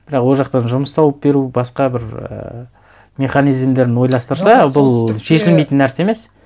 бірақ ол жақтан жұмыс тауып беру басқа бір ііі механизмдерін ойластырса бұл шешілмейтін нәрсе емес